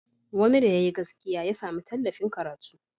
Wani da yayi gaskiya ya sami tallafin karatu.